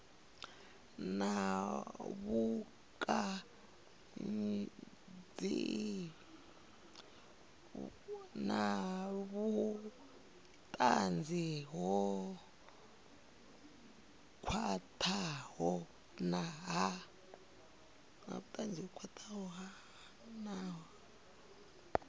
na vhutanzi ho khwathaho ha